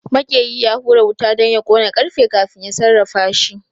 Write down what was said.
Maƙeri ya hura wuta don ya ƙona ƙarfe kafin ya sarrafashi